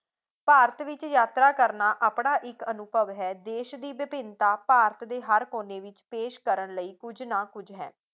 ਭਾਰਤ ਵਿੱਚ ਯਾਤਰਾ ਕਰਨਾ ਆਪਣਾ ਇੱਕ ਅਨੁਭਵ ਹੈ ਦੇਸ਼ ਦੀ ਵਿਭਿੰਨਤਾ ਭਾਰਤ ਦੇ ਹਰ ਕੋਨੇ ਵਿੱਚ ਪੇਸ਼ ਕਰਨ ਲਈ ਕਿੰਝ ਨਾ ਕੁਝ ਹੈ